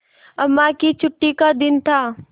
अम्मा की छुट्टी का दिन था